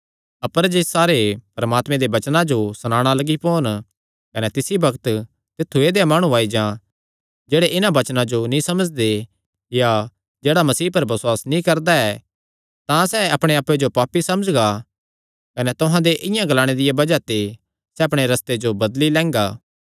अपर जे सारे परमात्मे दे वचने जो सणाणा लग्गी पोन कने तिसी बग्त तित्थु ऐदेया माणु आई जां जेह्ड़े इन्हां वचनां जो नीं समझदे या जेह्ड़ा मसीह पर बसुआस नीं करदा ऐ तां सैह़ अपणे आप्पे जो पापी समझगा कने तुहां दे इआं ग्लाणे दिया बज़ाह ते सैह़ अपणे रस्ते जो बदली लैंगा